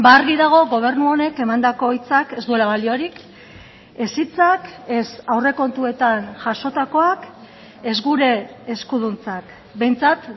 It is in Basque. argi dago gobernu honek emandako hitzak ez duela baliorik ez hitzak ez aurrekontuetan jasotakoak ez gure eskuduntzak behintzat